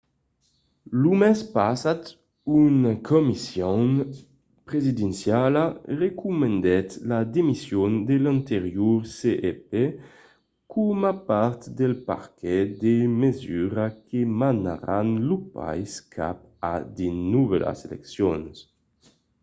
lo mes passat una comission presidenciala recomandèt la demission de l'anterior cep coma part del paquet de mesuras que menaràn lo país cap a de novèlas eleccions